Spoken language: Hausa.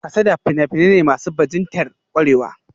Kasada fina-finai ne masu bajintar kwarewa